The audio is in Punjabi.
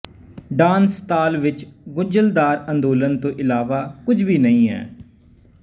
ਡਾਂਸ ਤਾਲ ਵਿੱਚ ਗੁੰਝਲਦਾਰ ਅੰਦੋਲਨ ਤੋਂ ਇਲਾਵਾ ਕੁਝ ਵੀ ਨਹੀਂ ਹੈ